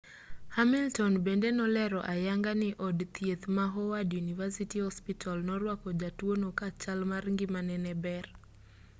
hamilton bende nolero ayanga ni od thieth ma howard university hospital norwako jatuo no ka chal mar ngimane ne ber